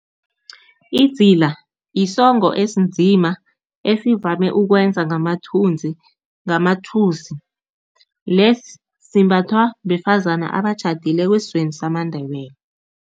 Idzila yisongo esinzima esivame ukwenza ngamathusi, lesi simbathwa besifazane abatjhadileko esizweni samaNdebele.